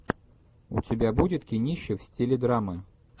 у тебя будет кинище в стиле драмы